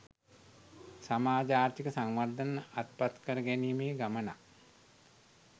සමාජ ආර්ථික සංවර්ධන අත්පත් කර ගැනීමේ ගමනක්